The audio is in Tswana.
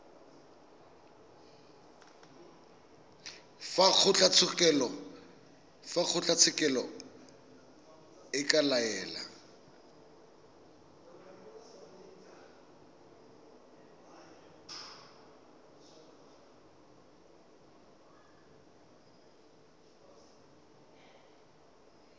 fa kgotlatshekelo e ka laela